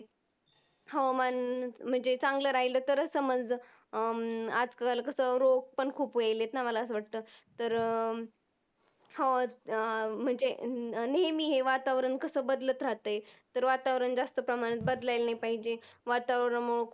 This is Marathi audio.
हो अह म्हणजे नेहमी हे वातावरण कस बदलत राहतंय. तर वातावरण जास्त प्रमाणात बदलायल नाही पाहिजेत. वातावरण मग